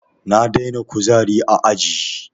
Na daina kuzari a aji